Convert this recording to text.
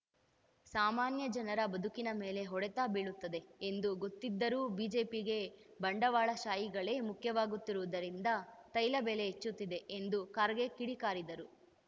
ಸಾಮಾನ್ಯ ಜನರ ಬದುಕಿನ ಮೇಲೆ ಹೊಡೆತ ಬೀಳುತ್ತದೆ ಎಂದು ಗೊತ್ತಿದ್ದರೂ ಬಿಜೆಪಿಗೆ ಬಂಡವಾಳಶಾಹಿಗಳೇ ಮುಖ್ಯವಾಗುತ್ತಿರುವುದರಿಂದ ತೈಲ ಬೆಲೆ ಹೆಚ್ಚುತ್ತಿದೆ ಎಂದು ಖರ್ಗೆ ಕಿಡಿಕಾರಿದರು